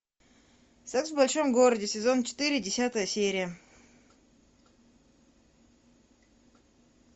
секс в большом городе сезон четыре десятая серия